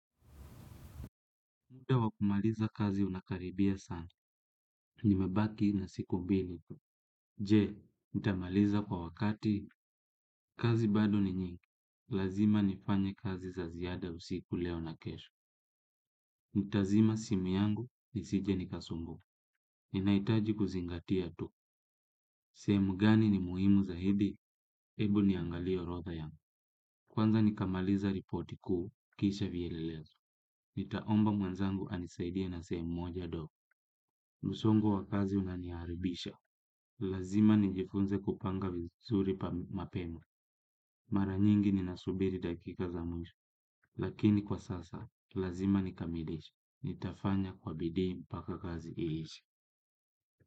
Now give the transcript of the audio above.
Muda wa kumaliza kazi unakaribia sana. Nimebaki na siku mbili. Je, nitamaliza kwa wakati? Kazi bado ni nyingi. Lazima nifanye kazi za ziada usiku leo na kesho. Nitazima simu yangu, nisije nikasumbuliwa. Ninahitaji kuzingatia tu. Sehemu gani ni muhimu zaidi? Ebu niangalie orotha yangu. Kwanza nikamaliza ripoti kuu, kisha vyelelezo. Nitaomba mwenzangu anisaidie na sehemu moja dogo. Msongo wa kazi unaniharakisha. Lazima nijifunze kupanga vizuri mapema. Mara nyingi ninasubiri dakika za mwisho. Lakini kwa sasa, lazima nikamilishe. Nitafanya kwa bidii mpaka kazi iishe.